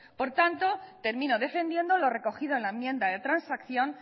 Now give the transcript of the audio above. por tanto termino defendiendo lo recogido en la enmienda de transacción